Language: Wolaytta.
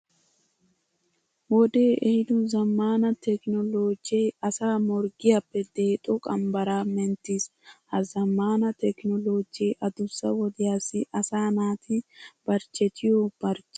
Wodee ehiido zammaana tekinooloojee asaa morggiyappe deexo qambbaraa menttiis. Ha zammaana tekinooloojee adussa wodiyassi asaa naati barchchetiyo barchchiya issitoo xayssiis.